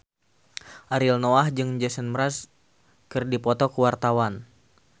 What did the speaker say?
Ariel Noah jeung Jason Mraz keur dipoto ku wartawan